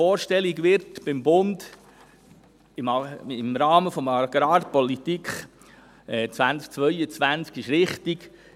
Dass man beim Bund eine Vorstellung im Rahmen der Agrarpolitik 2022 hat, ist richtig.